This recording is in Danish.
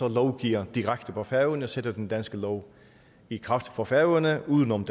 lovgiver direkte på færøerne altså sætter den danske lov i kraft for færøerne uden om